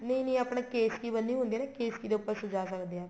ਨਹੀਂ ਨਹੀਂ ਆਪਣੇ ਕੇਸਕੀ ਬਣੀ ਹੁੰਦੀ ਏ ਕੇਸਕੀ ਦੇ ਉੱਪਰ ਸਿਜਾ ਸਕਦੇ ਹਾਂ